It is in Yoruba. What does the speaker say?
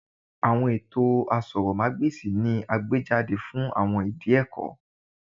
Awọn eto asòrò má gbèsì ni a gbejade fun awọn idi ẹkọ